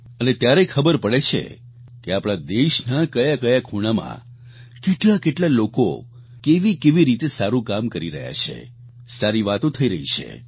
અને ત્યારે ખબર પડે છે કે આપણા દેશના કયા કયા ખૂણામાં કેટલા કેટલા લોકો કેવીકેવી રીતે સારું કામ કરી રહ્યા છે સારી વાતો થઈ રહી છે